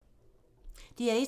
DR1